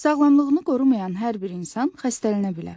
Sağlamlığını qorumayan hər bir insan xəstələnə bilər.